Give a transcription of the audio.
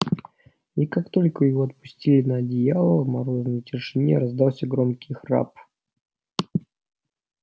и как только его опустили на одеяло в морозной тишине раздался громкий храп